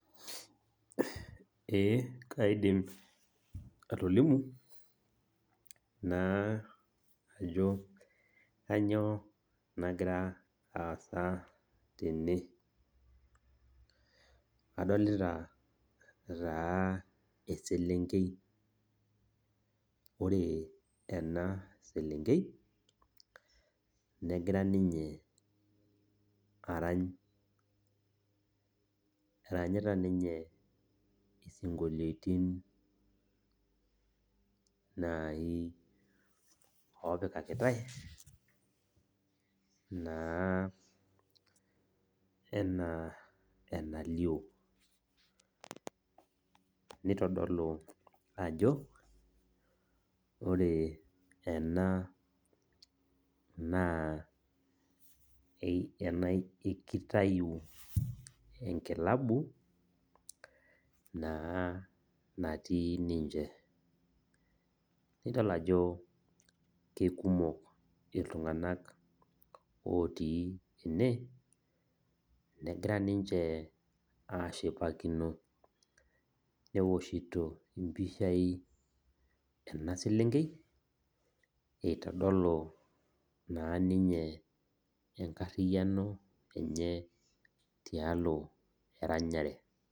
Ee kaidim atolimu ajo kainyio nagira aasa tene. Adolita taa eselenkei , ore enaselenkei negira ninye arany , eranyita ninye isinkolitin nai opikakitae naa enaalio . Nitodolu naa ajo ore ena naa kitayu enkilabu naa natii ninche , nidol ajo kekumok iltunganak otii ene negira ninche ashipakino, neoshito impishai enaselenkei itodolu naa ninye enkariano enye tialo eranyare.